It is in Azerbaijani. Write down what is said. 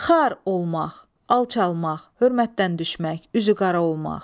Xar olmaq, alçalmaq, hörmətdən düşmək, üzüqara olmaq.